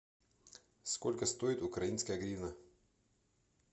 сколько стоит украинская гривна